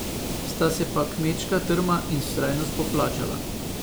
Sta se pa kmečka trma in vztrajnost poplačala.